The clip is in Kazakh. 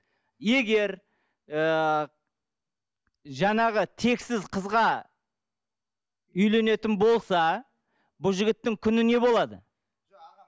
егер ыыы жаңағы тексіз қызға үйленетін болса бұл жігіттің күні не болады